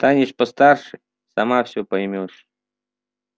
станешь постарше сама всё поймёшь